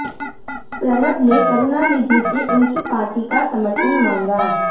प्रणब ने करुणानिधि से उनकी पार्टी का समर्थन मांगा